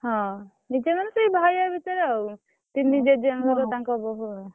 ହଁ ନିଜର ମାନେ ସେଇ ଭାଇ ଭାଇ ଭିତରେ ଆଉ ତିନି ଜେଜେ ରେ ତାକଂ ବୋହୁ ଆଉ।